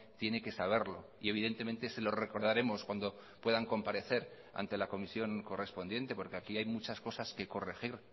tiene que saberlo y evidentemente se lo recordaremos cuando puedan comparecer ante la comisión correspondiente porque aquí hay muchas cosas que corregir